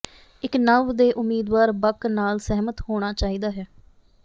ਇੱਕ ਨਵ ਦੇ ਉਮੀਦਵਾਰ ਬਕ ਨਾਲ ਸਹਿਮਤ ਹੋਣਾ ਚਾਹੀਦਾ ਹੈ